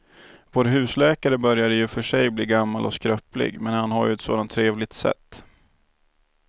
Vår husläkare börjar i och för sig bli gammal och skröplig, men han har ju ett sådant trevligt sätt!